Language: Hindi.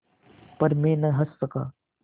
पर मैं न हँस सका